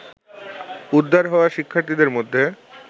উদ্ধার হওয়া শিক্ষার্থীদের মধ্যে